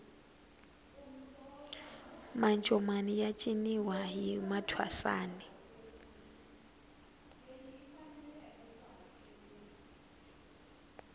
mancomani ya ciniwa hi mathwasani